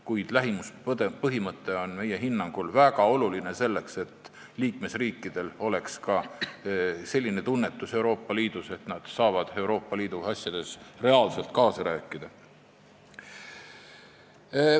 Kuid lähimuspõhimõte on meie hinnangul väga oluline, selleks et liikmesriikidel oleks tunnetus, et nad saavad Euroopa Liidu asjades reaalselt kaasa rääkida.